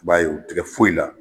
I b'a ye o tɛ kɛ foyi la